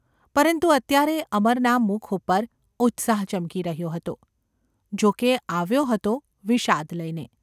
પરંતુ અત્યારે અમરના મુખ ઉપર ઉત્સાહ ચમકી રહ્યો હતો–જોકે એ આવ્યો હતો વિષાદ લઈને.